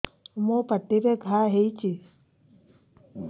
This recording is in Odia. ମୋର ପାଟିରେ ଘା ହେଇଚି